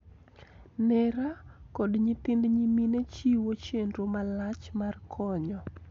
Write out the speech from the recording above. Nera, kod nyithind nyimine chiwo chenro malach mar konyo,